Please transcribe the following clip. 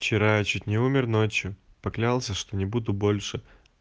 вчера я чуть не умер ночью поклялся что не буду больше